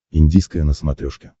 индийское на смотрешке